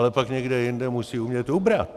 Ale pak někde jinde musí umět ubrat.